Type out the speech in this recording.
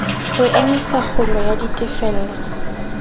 ho emisa kgulo ya ditefello